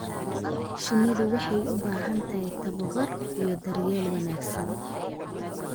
Shinnidu waxay u baahan tahay tababar iyo daryeel wanaagsan.